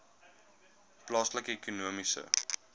plaaslike ekonomiese